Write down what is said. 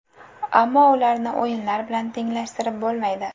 Ammo ularni o‘yinlar bilan tenglashtirib bo‘lmaydi.